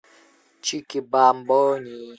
чики бамбони